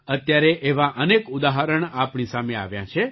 અત્યારે એવાં અનેક ઉદાહરણ આપણી સામે આવ્યાં છે